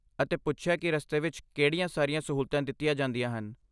ਅਤੇ ਪੁੱਛਿਆ ਕਿ ਰਸਤੇ ਵਿੱਚ ਕਿਹੜੀਆਂ ਸਾਰੀਆਂ ਸਹੂਲਤਾਂ ਦਿੱਤੀਆਂ ਜਾਂਦੀਆਂ ਹਨ।